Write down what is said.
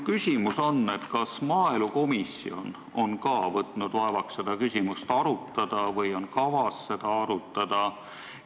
Kas maaelukomisjon on ka võtnud vaevaks seda küsimust arutada või on kavas seda arutada?